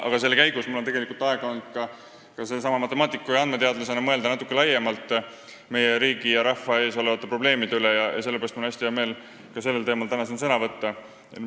Ja selle käigus on mul matemaatiku ja andmeteadlasena olnud aega mõelda natuke laiemalt meie riigi ja rahva ees olevate probleemide üle ning selle pärast on mul hästi hea meel, et saan sellel teemal ka täna siin sõna võtta.